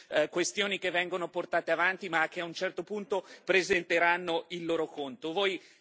Sono solo questioni che vengono portate avanti, ma che a un certo punto presenteranno il loro conto.